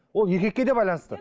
ол еркекке де байланысты